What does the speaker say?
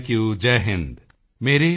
ਸਾਰੇ NCC cadets Jai Hind sir